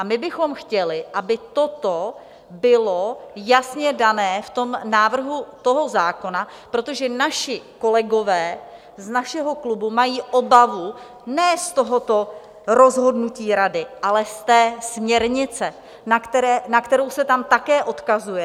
A my bychom chtěli, aby toto bylo jasně dané v tom návrhu toho zákona, protože naši kolegové z našeho klubu mají obavu ne z tohoto rozhodnutí Rady, ale z té směrnice, na kterou se tam také odkazuje.